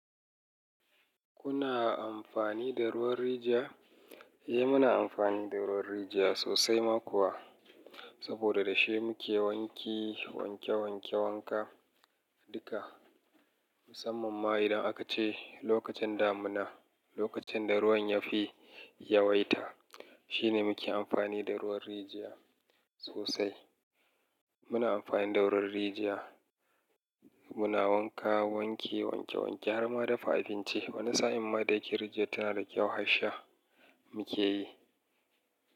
Kuna amfani da ruwan rijiya? Eh, muna amfani da ruwan rijiya sosai ma kuwa. Saboda da shi muke wanki, wanke-wanke wanka duka. Musamman ma idan aka ce lokacin damuna, lokacin da ruwan yafi yawaita, shine muke amfani da ruwan rijiya sosai. Muna amfani da ruwan rijiya muna wanka, wanki, wanke-wanke, har ma dafa abinci. Wani sa'in ma da yake rijiyar tana da kyau, har sha muke yi.